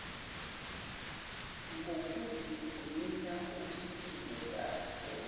kokuzigcina uphile kakhe